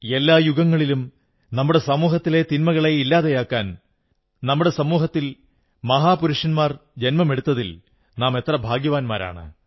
എല്ലാ യുഗങ്ങളിലും നമ്മുടെ സമൂഹത്തിലെ തിന്മകളെ ഇല്ലാതെയാക്കാൻ നമ്മുടെ സമൂഹത്തിൽ മഹാപുരുഷന്മാർ ജന്മമെടുത്തതിൽ നാം എത്ര ഭാഗ്യവാന്മാരാണ്